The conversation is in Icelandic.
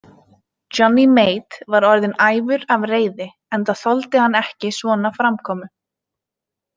Johnny Mate var orðinn æfur af reiði, enda þoldi hann ekki svona framkomu.